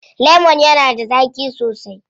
Lemon yana da zaƙi sosai.